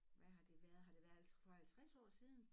Hvad har det været har det været for 50 år siden?